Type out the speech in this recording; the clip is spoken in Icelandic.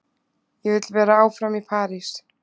Ég vill vera áfram í París.